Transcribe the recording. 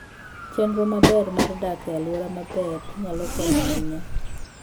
Chenro maber mar dak e alwora maber nyalo konyo ahinya.